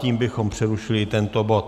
Tím bychom přerušili tento bod.